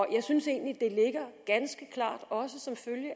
jeg synes egentlig at det ligger ganske klart selvfølgelig